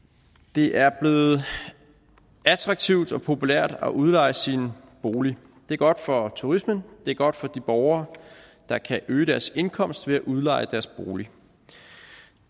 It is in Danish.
det er blevet attraktivt og populært at udleje sin bolig det er godt for turismen det er godt for de borgere der kan øge deres indkomst ved at udleje deres bolig